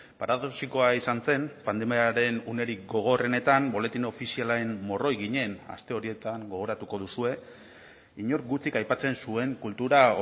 paradoxikoa izan zen pandemiaren unerik gogorrenetan boletin ofizialaren morroi ginen aste horietan gogoratuko duzue inork gutxik aipatzen zuen kultura